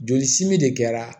Joli simi de kɛra